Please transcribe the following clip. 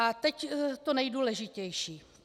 A teď to nejdůležitější.